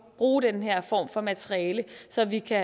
bruge den her form for materiale så vi kan